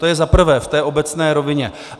To je za prvé v té obecné rovině.